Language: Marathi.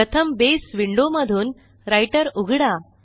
प्रथम बसे विंडो मधून राइटर उघडा